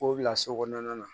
K'o bila so kɔnɔna na